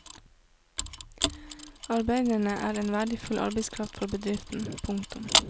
Arbeiderne er en verdifull arbeidskraft for bedriften. punktum